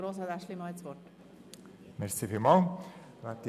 Draussen ist es wegen einer Demonstration schon laut genug.